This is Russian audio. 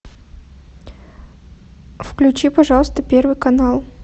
включи пожалуйста первый канал